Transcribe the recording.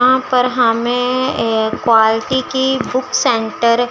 वहां पर हमें एक क्वालिटी की बुक सेंटर --